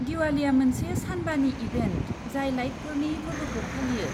दिवालीया मोनसे सानबानि इभेन्ट जाय लाइटफोरनि फोरबोखौ फालियो।